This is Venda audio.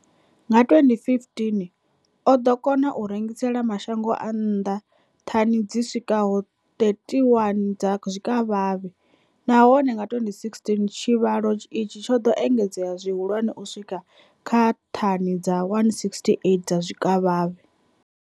Nga 2015, o ḓo kona u rengisela mashango a nnḓa thani dzi swikaho 31 dza zwikavhavhe, nahone nga 2016 tshivhalo itshi tsho ḓo engedzea zwihulwane u swika kha thani dza 168 dza zwikavhavhe.